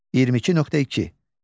22.2.